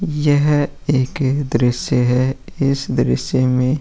यह एक दृश्य है। इस दृश्य में --